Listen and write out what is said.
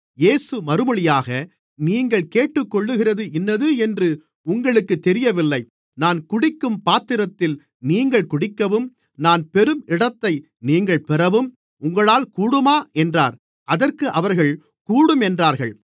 இயேசு மறுமொழியாக நீங்கள் கேட்டுக்கொள்ளுகிறது இன்னது என்று உங்களுக்குத் தெரியவில்லை நான் குடிக்கும் பாத்திரத்தில் நீங்கள் குடிக்கவும் நான் பெறும் இடத்தை நீங்கள் பெறவும் உங்களால் கூடுமா என்றார் அதற்கு அவர்கள் கூடும் என்றார்கள்